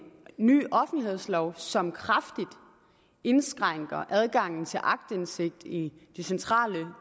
ny offentlighedslov som kraftigt indskrænker adgangen til aktindsigt i de centrale